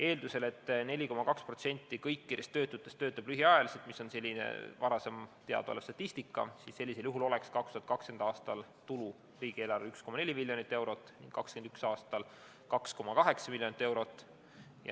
Eeldusel, et 4,2% kõikidest töötutest töötab lühiajaliselt – selle kohta on teada varasem statistika –, oleks 2020. aastal tulu riigieelarvele 1,4 miljonit eurot, 2021. aastal 2,8 miljonit eurot.